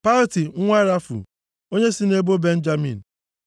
Palti nwa Rafu, onye si nʼebo Benjamin.